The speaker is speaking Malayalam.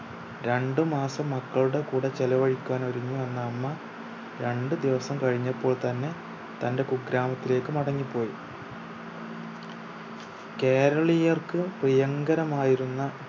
രണ്ട് മാസം മക്കളുടെ കൂടെ ചെലവഴിക്കാൻ ഒരുങ്ങി വന്നമ്മ രണ്ട് ദിവസം കഴിഞ്ഞപ്പോൾ തന്നെ തന്റെ കുഗ്രാമത്തിലേക്ക് മടങ്ങിപ്പോയി. കേരളീയർക്ക് പ്രിയങ്കരമായിരുന്ന